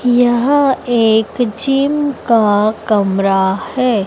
यह एक जिम का कमरा है।